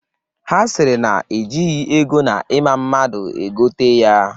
Ha sịrị na ejighi ego na ịma mmadụ ego tee ya.